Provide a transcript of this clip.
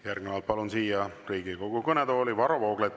Järgnevalt palun siia Riigikogu kõnetooli Varro Vooglaiu.